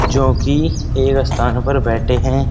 जो की एक स्थान पर बैठे हैं।